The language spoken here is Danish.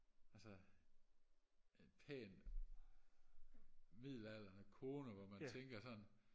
altså pæne midaldrene koner hvor man tænker sådan